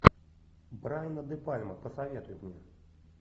брайана де пальма посоветуй мне